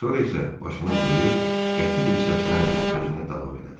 Sonra isə başını bulayıb qəti bir səslə sözünə davam elədi.